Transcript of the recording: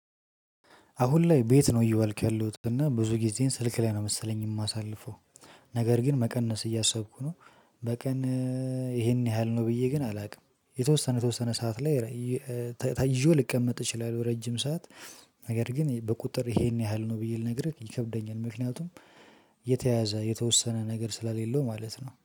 አሁን ላይ ቤት ነው እየዋልኩ ያለሁት እና ብዙ ጊዜን ስልክ ላይ ነው መሰለኝ የማሳልፈው። ነገር ግን መቀነስ እያሰብኩ ነው። በቀን ይሄን ያህል ነው ብዬ ግን አላውቅም የተወሰነ የተወሰነ ሰዓት ላይ። ይዤው ልቀመጥ እችላለሁ ረጅም ሰዓት። ነገር ግን በቁጥር ይሄን ያህል ነው ብዬ ልነግርህ ይከብደኛል። ምክንያቱም የተያያዘ የተወሰነ ነገር ስለሌለው ማለት ነው